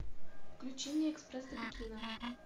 включи мне экспресс до пекина